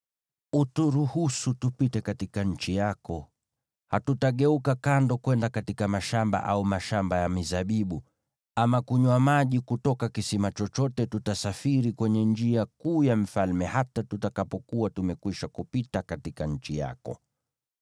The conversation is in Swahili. “Uturuhusu tupite katika nchi yako. Hatutageuka kando kwenda katika mashamba au mashamba ya mizabibu, ama kunywa maji kutoka kisima chochote. Tutasafiri kwenye njia kuu ya mfalme hata tutakapokuwa tumekwisha kupita katika nchi yako.”